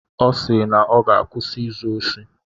Ọ sị na ọ ga-akwụsị izu osi.